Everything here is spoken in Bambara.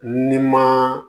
Ni ma